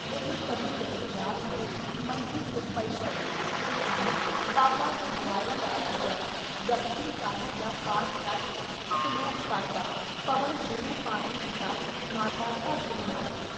ਉਹ ਕਦੇ ਕਦੇ ਰਾਤ ਨੂੰ ਮੰਜੇ 'ਤੇ ਪਈ ਪਈ ਸੋਚਦੀ ਬਾਬਾ ਗੁਰਦੁਆਰੇ ਵਾਲਾ ਜਦ ਜਪੁਜੀ ਸਾਹਿਬ ਦਾ ਪਾਠ ਕਰਕੇ ਸਲੋਕ ਪੜ੍ਹਦਾ ਪਵਣ ਗੁਰੂ ਪਾਣੀ ਪਿਤਾ ਮਾਤਾ ਧਰਤ ਮਹੱਤ।